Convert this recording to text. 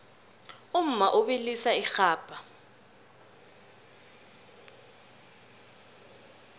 umma ubilisa irhabha